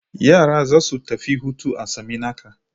Yara za su tafi hutu a Saminaka.